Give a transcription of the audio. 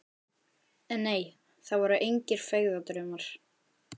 En nei, það voru engir feigðardraumar.